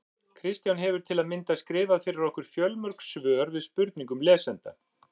Kristján hefur til að mynda skrifað fyrir okkur fjöldamörg svör við spurningum lesenda.